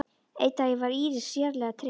Einn daginn var Íris sérlega treg.